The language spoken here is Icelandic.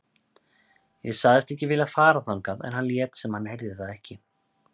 Ég sagðist ekki vilja fara þangað en hann lét sem hann heyrði það ekki.